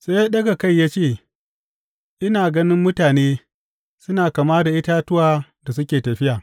Sai ya ɗaga kai ya ce, Ina ganin mutane, suna kama da itatuwa da suke tafiya.